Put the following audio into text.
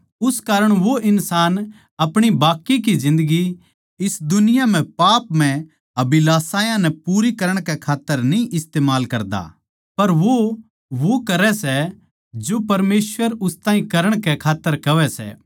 उस कारण वो इन्सान अपणी बाकी की जिन्दगी इस दुनिया म्ह पापमय अभिलाषायां नै पूरी करण कै खात्तर न्ही इस्तमाल करदा पर वो वो करै सै जो परमेसवर उस ताहीं करण कै खात्तर कहवै सै